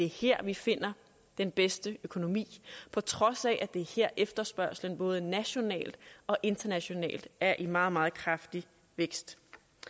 her vi finder den bedste økonomi på trods af at det er her efterspørgslen både nationalt og internationalt er i meget meget kraftig vækst